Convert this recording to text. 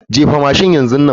Jefa mashin yanzu nan.